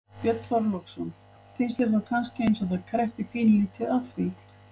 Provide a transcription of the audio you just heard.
Björn Þorláksson: Finnst þér þá kannski eins og að það kreppi pínulítið að því?